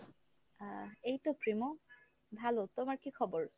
আহ এইতো প্রেমা ভালো , তোমার কী খবর ?